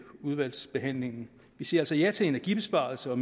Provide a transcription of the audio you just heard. udvalgsbehandlingen vi siger altså ja til energibesparelser og